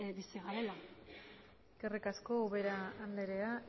bizi garela eskerrik asko ubera andrea